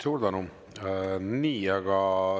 Suur tänu!